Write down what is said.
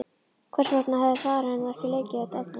Hvers vegna hafði faðir hennar ekki leikið þetta eftir?